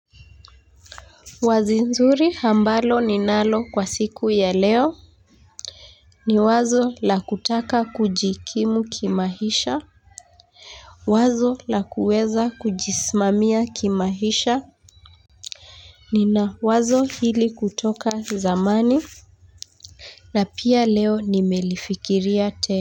Wazo zuri ambalo ninalo kwa siku ya leo ni wazo la kutaka kujikimu kimaisha, wazo la kuweza kujisimamia kimaisha. Ni na wazo hili kutoka zamani na pia leo nimelifikiria tena.